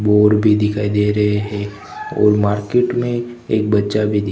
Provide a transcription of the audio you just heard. board भी दिखाई दे रहे हैं और मार्केट में एक बच्चा भी दि--